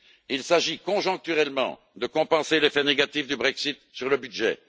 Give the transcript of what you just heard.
il s'agit, conjoncturellement, de compenser l'effet négatif du Brexit sur le budget